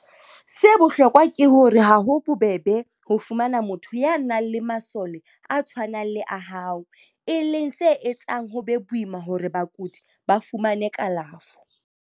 Se bohloko ke hore ha ho bobebe ho fumana motho ya nang le masole a tshwanang le a hao, e leng se etsang ho be boima hore bakudi ba fumane kalafo.